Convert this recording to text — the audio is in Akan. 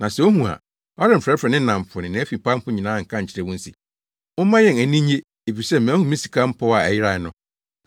Na sɛ ohu a, ɔremfrɛfrɛ ne nnamfo ne nʼafipamfo nyinaa nka nkyerɛ wɔn se, ‘Momma yɛn ani nnye, efisɛ mahu me sika mpɔw a ɛyerae no.’